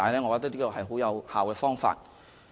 我認為這是很有效的方法。